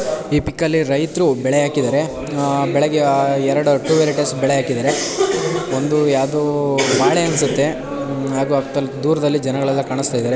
ಈ ಪಿಕ್ ಅಲ್ಲಿ ರೈತೃ ಬೆಳೆ ಹಾಕಿದ್ದಾರೆ ಅಹ್ ಬೆಳೆಗೆ ಅಹ್ ಎರಡು ಟೂ ವೆರೈಟಿಸ್ ಬೆಳೆ ಹಾಕಿದ್ದಾರೆ ಒಂದೂ ಯಾವ್ದೋ ಬಾಳೆ ಅನ್ಸುತ್ತೆ ಉಮ್ ಹಾಗೂ ಅಕ್ ದಲ್ ದೂರದಲ್ಲಿ ಜನಗಳೆಲ್ಲ ಕಾಣುಸ್ತಾ ಇದ್ದಾರೆ.